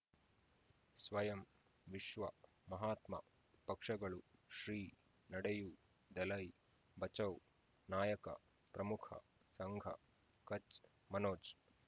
ಸ್ವಯಂ ವಿಶ್ವ ಮಹಾತ್ಮ ಪಕ್ಷಗಳು ಶ್ರೀ ನಡೆಯೂ ದಲೈ ಬಚೌ ನಾಯಕ ಪ್ರಮುಖ ಸಂಘ ಕಚ್ ಮನೋಜ್